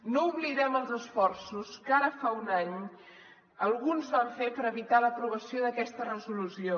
no oblidem els esforços que ara fa un any alguns van fer per evitar l’aprovació d’aquesta resolució